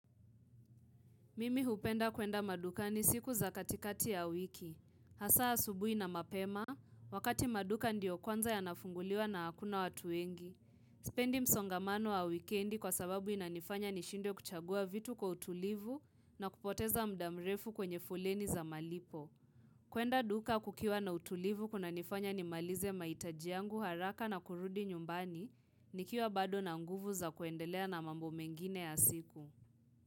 Mimi hupenda kwenda madukani siku za katikati ya wiki. Hasa asubui na mapema, wakati maduka ndio kwanza yanafunguliwa na hakuna watu wengi. Sipendi msongamano wa wikendi kwa sababu inanifanya nishindwe kuchagua vitu kwa utulivu na kupoteza muda mrefu kwenye foleni za malipo. Kwenda duka kukiwa na utulivu kunanifanya nimalize mahitaji yangu haraka na kurudi nyumbani, nikiwa bado na nguvu za kuendelea na mambo mengine ya siku.